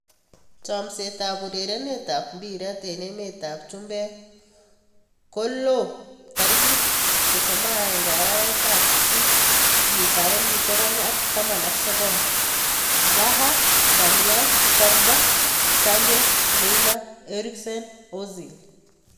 Chomset ab urerenet ab mbiret eng emet ab chumbek kolo 31.08.2019: Zaha, Darmian, Pogba, Sancho, Neymar, Eriksen, Ozil